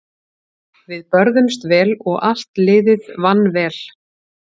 Við börðumst vel og allt liðið vann vel.